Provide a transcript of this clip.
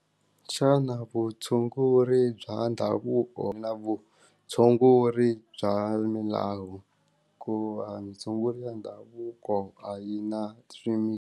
Xana vutshunguri bya ndhavuko na vutshunguri bya milawu ku va tshungula ndhavuko a yi na .